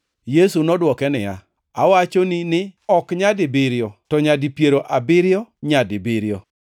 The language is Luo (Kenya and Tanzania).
Yesu nodwoke niya, “Awachoni ni ok nyadibiriyo to nyadi piero abiriyo nyadibiriyo.